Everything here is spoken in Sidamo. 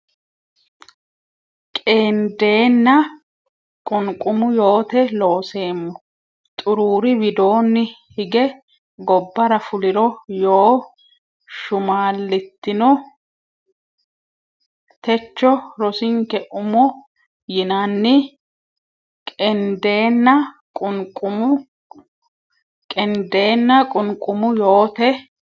Qeendeenna qunqumu yoote Looseemmo xuruuri widoonni hige gobbara fuliro yoo shumaallitino techo rosinke umo yinanni Qeendeenna qunqumu Qeendeenna qunqumu yoote.